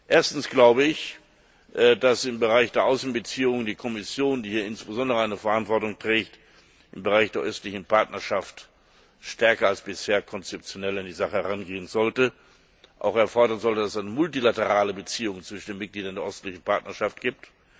Erstens glaube ich, dass im Bereich der Außenbeziehungen die Kommission, die hier insbesondere eine Verantwortung trägt, im Bereich der östlichen Partnerschaft stärker als bisher konzeptionell an die Sache herangehen und fordern sollte, dass es eine multilaterale Beziehung zwischen den Mitgliedern der östlichen Partnerschaft gibt.